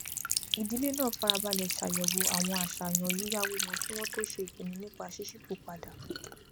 ìdílé náà farabalẹ ṣàyẹwò àwọn àṣàyàn yíyáwó wọn kí wọn tó ṣe ìpinnu nípa ṣíṣípò padà